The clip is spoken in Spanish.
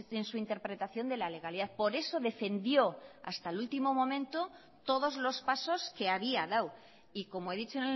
en su interpretación de la legalidad por eso defendió hasta el último momento todos los pasos que había dado y como he dicho